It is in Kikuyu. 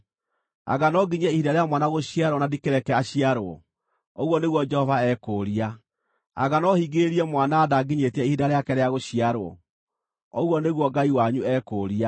Anga no nginyie ihinda rĩa mwana gũciarwo na ndikĩreke aciarwo?” ũguo nĩguo Jehova ekũũria. “Anga no hingĩrĩrie mwana nda nginyĩtie ihinda rĩake rĩa gũciarwo?” ũguo nĩguo Ngai wanyu ekũũria.